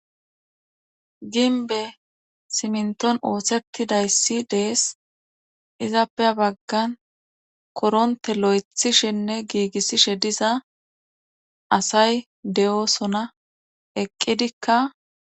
Ginbe simnton ooththetidayssi dees izappey baggan koronte lo'ethishenne giigissishe diza asay de'osona eqqidikka.